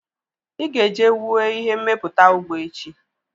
Ị ga-eje wue ihe mmepụta ụgbọ echi!